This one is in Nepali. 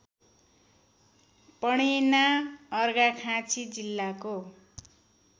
पणेना अर्घाखाँची जिल्लाको